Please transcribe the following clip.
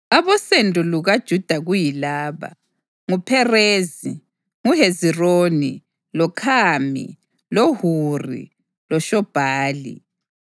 Abosendo lukaJuda kuyilaba: NguPherezi, loHezironi, loKhami, loHuri loShobhali.